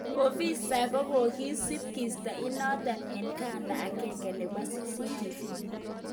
ofisaek kokosip kisa inaton en kanda agenge nepo CCTV